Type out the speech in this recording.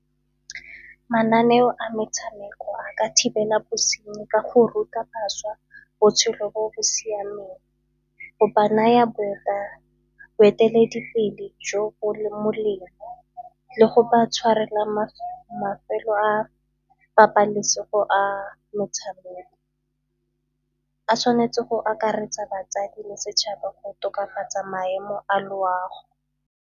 Mananeo a metshameko a ka thibela bosenyi ka go ruta bašwa botshelo bo bo siameng, go ba naya boeteledipele jo bo leng molemo le go ba tshwarelwa mafelo a pabalesego a metshameko. A tshwanetse go akaretsa batsadi le setšhaba go tokafatsa maemo a loago.